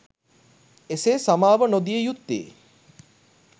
එසේ සමාව නොදිය යුත්තේ